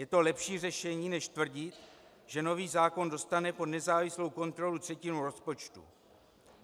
Je to lepší řešení než tvrdit, že nový zákon dostane pod nezávislou kontrolu třetinu rozpočtu.